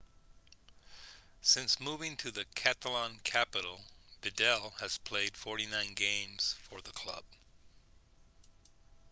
since moving to the catalan-capital vidal had played 49 games for the club